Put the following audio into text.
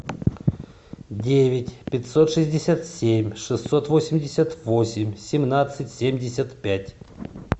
девять пятьсот шестьдесят семь шестьсот восемьдесят восемь семнадцать семьдесят пять